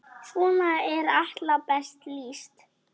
Svona er Atla best lýst.